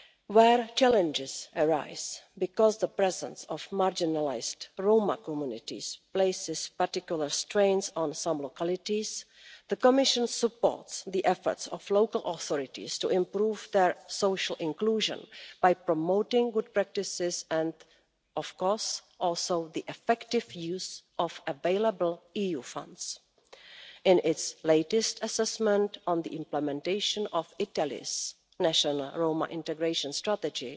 Where challenges arise because the presence of marginalised Roma communities is placing particular strains on some localities, the Commission supports the efforts of local authorities to improve their social inclusion by promoting good practices and also, of course, the effective use of available EU funds. In its latest assessment of the implementation of Italy's national Roma integration strategy,